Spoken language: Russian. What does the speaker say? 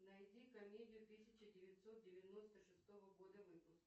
найди комедию тысяча девятьсот девяносто шестого года выпуска